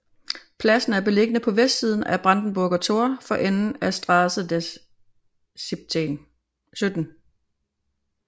Pladsen er beliggende på vestsiden af Brandenburger Tor for enden af Straße des 17